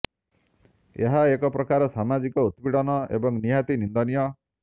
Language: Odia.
ଏହା ଏକ ପ୍ରକାର ସାମାଜିକ ଉତ୍ପୀଡ଼ନ ଏବଂ ନିହାତି ନିନ୍ଦନୀୟ